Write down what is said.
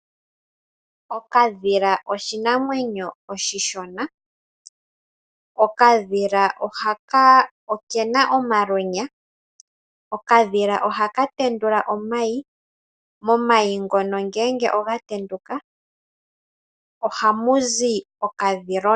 Okadhila oshinamwenyo oshishona, okadhila okena omalweenya. Okadhila ohaka tendula omayi, momayi mono ngele oga tenduka ohamu zi okadhilona.